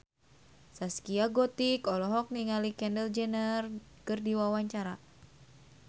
Zaskia Gotik olohok ningali Kendall Jenner keur diwawancara